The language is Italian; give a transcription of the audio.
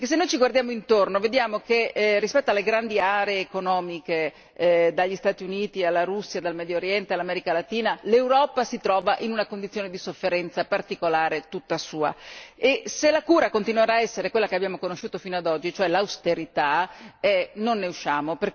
Se ci guardiamo intorno vediamo che, rispetto alle grandi aree economiche dagli Stati Uniti, alla Russia, dal Medio Oriente all'America Latina, l'Europa si trova in una condizione di sofferenza particolare tutta sua e se la cura continuerà a essere quella che abbiamo conosciuto fino ad oggi cioè l'austerità, non ne usciamo.